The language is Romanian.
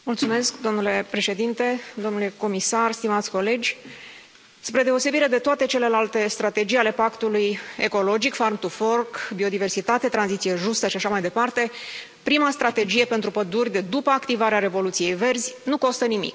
Domnule președinte, domnule comisar, stimați colegi, spre deosebire de toate celelalte strategii ale pactului ecologic biodiversitate, tranziție justă și așa mai departe prima strategie pentru păduri de după activarea revoluției verzi nu costă nimic.